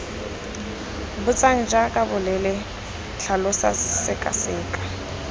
botsang jaaka bolela tlhalosa sekaseka